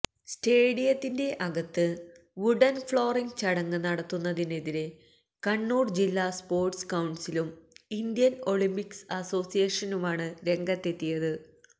സ്റ്റേഡിയത്തിന്റെ അകത്ത് വുഡന് ഫ്ളോറിംഗ്ല് ചടങ്ങ് നടത്തുന്നതിനെതിരെ കണ്ണൂര് ജില്ലാ സ്പോര്ട്സ് കൌണ്സിലും ഇന്ത്യന് ഒളിംപിക്സ് അസോസിയേഷനുമാണ് രംഗത്തെത്തിയത്